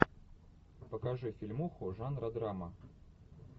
покажи фильмуху жанра драма